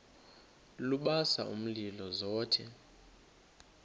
lubasa umlilo zothe